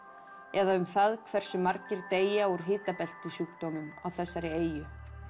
eða um það hversu margir deyja úr á þessari eyju